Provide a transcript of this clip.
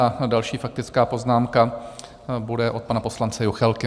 A další faktická poznámka bude od pana poslance Juchelky.